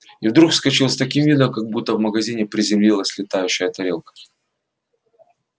и вдруг вскочил с таким видом как будто в магазине приземлилась летающая тарелка